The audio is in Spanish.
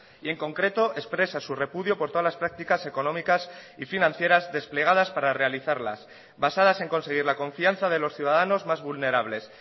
y en concreto expresa su repudio por todas las prácticas económicas y financieras desplegadas para realizarlas basadas en conseguir la confianza de los ciudadanos más vulnerables